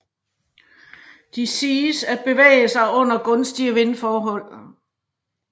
De siges at bevæge sig under gunstige vindforhold